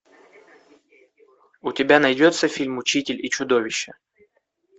у тебя найдется фильм учитель и чудовище